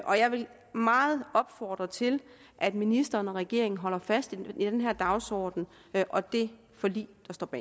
og jeg vil meget opfordre til at ministeren og regeringen holder fast i den her dagsorden og det forlig